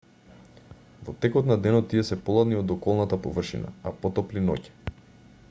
во текот на денот тие се поладни од околната површина а потопли ноќе